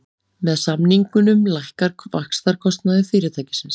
Með samningunum lækkar vaxtakostnaður fyrirtækisins